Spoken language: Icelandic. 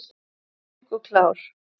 Mjúk og klár!